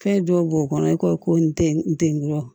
Fɛn dɔw b'o kɔnɔ i ko ko n tɛ n te ngɔlɔ